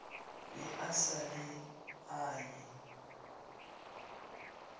be a sa le anye